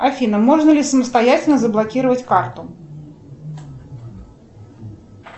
афина можно ли самостоятельно заблокировать карту